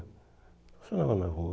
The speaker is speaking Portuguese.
Estacionava na rua.